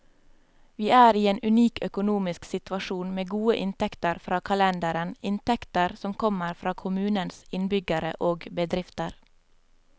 Vi er i en unik økonomisk situasjon, med gode inntekter fra kalenderen, inntekter som kommer fra kommunens innbyggere og bedrifter.